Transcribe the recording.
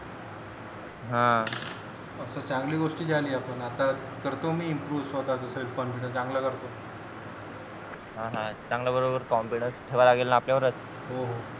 हा मग तर चांगली गोष्ट झाली आता आपण करतो मी स्वतःचा self confidanceimprove चांगला करतो हा हा चांगला बरोबर confidence ठेवा लागेल न आपल्या बरोबरच